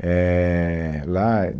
éh lá.